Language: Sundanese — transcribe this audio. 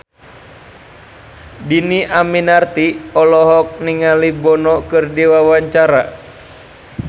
Dhini Aminarti olohok ningali Bono keur diwawancara